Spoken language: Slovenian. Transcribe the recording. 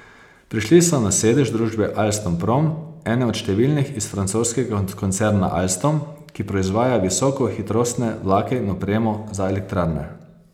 Prišli so na sedež družbe Alstom Prom, ene od številnih iz francoskega koncerna Alstom, ki proizvaja visokohitrostne vlake in opremo za elektrarne.